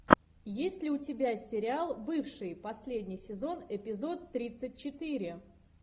есть ли у тебя сериал бывшие последний сезон эпизод тридцать четыре